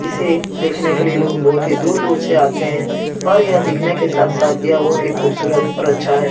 इसे देखने के लिए लोग बहुत ही दूर-दूर से आते हैं और यह दिखने के साथ-साथ यह बहुत ही खूबसूरत और अच्छा है।